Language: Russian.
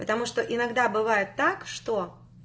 потому что иногда бывает так что